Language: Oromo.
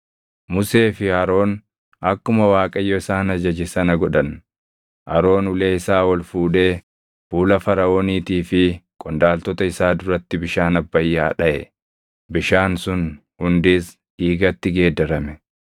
Musee fi Aroon akkuma Waaqayyo isaan ajaje sana godhan. Aroon ulee isaa ol fuudhee fuula Faraʼooniitii fi qondaaltota isaa duratti bishaan Abbayyaa dhaʼe; bishaan sun hundis dhiigatti geeddarame.